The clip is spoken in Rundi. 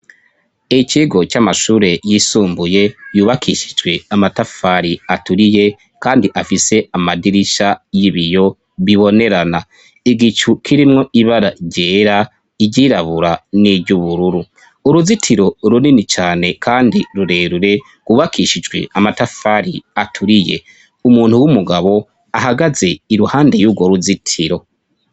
Ikigo c'amashure yisumbuye yubakishijwe amatafari aturiye, kandi afise amadirisha y'ibiyo bibonerana igicu kirimwo ibara rera iryirabura n'iryo ubururu uruzitiro urunini cane, kandi rurerure wubakishijwe amatafari aturiye umuntu w'umugabo ahagaze iruhande y'urwo ruzitiro.